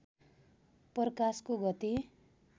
प्रकाशको गति